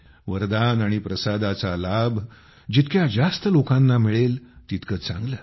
वरदान आणि प्रसादाचा लाभ जितक्या जास्त लोकांना मिळेल तितके चांगले